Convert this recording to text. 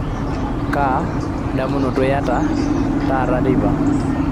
kaa damunoto ianyita taata teipa